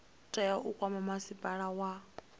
tea u kwama masipala wa